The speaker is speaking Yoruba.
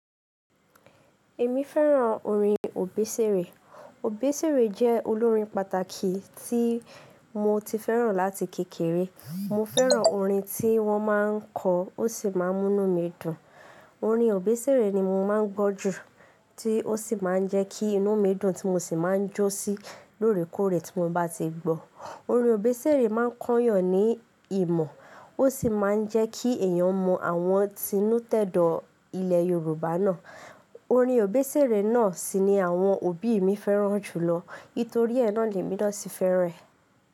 Èmi fẹ́ràn orin Òbésèré. Òbésèré jẹ́ olórin pàtàkì tí mo ti fẹ́ràn láti kékeré. Mo fẹ́ràn orin tí wọ́n máa ń kọ, ó sì máa ń mú inú mi dùn. Orin Obesere ni mo máa ń gbọ́ jù, tí ó sì máa ń jẹ́ kí inú mi dùn tí mo sì máa ń jó sí lóòrèkóòrè tí mo bá ti gbọ́. Orin Obesere máa ń kányàn ní ìmọ̀, ó sì máa ń jẹ́ kí èèyàn mọ àwọn tinú tẹ̀dọ̀ ilẹ̀ Yorùbá náà. Orin Obesere náà sì ni àwọn òbí mi fẹ́ràn jùlọ, nítorí ẹ náà lè mi náà sí fẹ́ràn ẹ̀